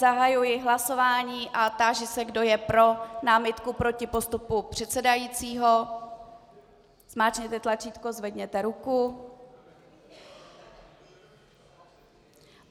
Zahajuji hlasování a táži se, kdo je pro námitku proti postupu předsedajícího, zmáčkněte tlačítko, zvedněte ruku.